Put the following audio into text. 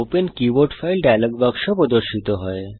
open keyboard file dialogue বাক্স প্রদর্শিত হয়